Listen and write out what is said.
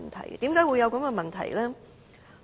為甚麼會有這個問題呢？